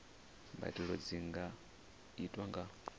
mbadelo dzi nga itwa nga